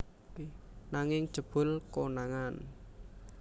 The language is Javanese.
Nanging jebul konangan